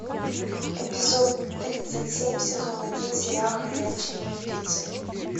эпизод тридцать семь сезон один сериал ходячие мертвецы